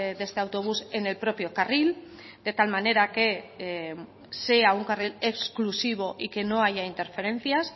de este autobús en el propio carril de tal manera que sea un carril exclusivo y que no haya interferencias